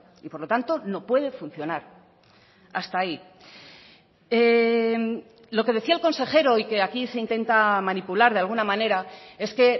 y por lo tanto no puede funcionar hasta ahí lo que decía el consejero y que aquí se intenta manipular de alguna manera es que